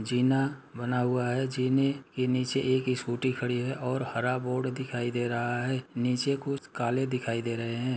जीना बना हुआ है जीना के नीचे एक स्कूटी खड़ी है और हरा बोर्ड दिखाई दे रहा है। नीचे कुछ काले दिखाई दे रहे हैं।